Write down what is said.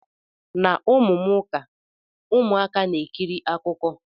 Na ụmụ m ụka, ụmụaka na-ekiri akụkọ.